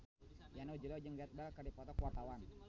Yana Julio jeung Gareth Bale keur dipoto ku wartawan